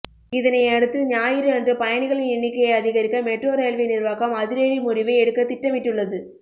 இதனையடுத்து ஞாயிறு அன்று பயணிகளின் எண்ணிக்கையை அதிகரிக்க மெட்ரோ ரயில்வே நிர்வாகம் அதிரடி முடிவை எடுக்க திட்டமிட்டுள்ளது